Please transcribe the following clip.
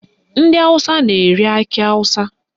Ndị Awụsa na-ere akị awụsa